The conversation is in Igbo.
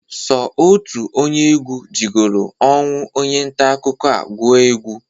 Sọ otu onye egwu jigolu ọnwụ onye ntaakụkọ a gụọ egwe.